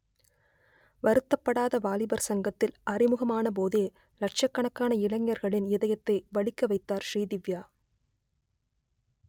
வருத்தப்படாத வாலிபர் சங்கத்தில் அறிமுகமான போதே லட்சக்கணக்கான இளைஞர்களின் இதயத்தை வலிக்க வைத்தார் ஸ்ரீதிவ்யா